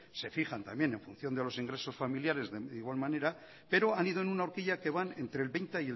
se fijan también en función de los ingresos familiares de igual manera pero han ido en una orquilla que van entre el veinte